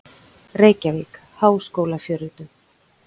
Reykjavík: Háskólafjölritun.